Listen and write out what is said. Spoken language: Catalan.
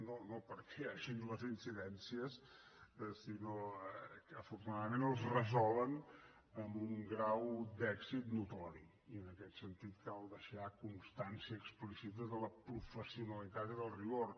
no perquè hi hagin les incidències sinó que afortunadament els resolen amb un grau d’èxit notori i en aquest sentit cal deixar constància explícita de la professionalitat i del rigor